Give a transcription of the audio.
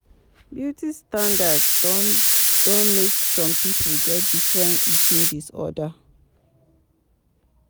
Beauty standards don don make some pipo get different eating disorder